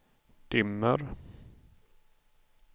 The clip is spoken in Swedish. dimmer